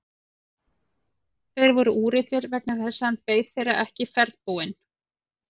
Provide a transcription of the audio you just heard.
Þeir voru úrillir vegna þess að hann beið þeirra ekki ferðbúinn.